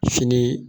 Fini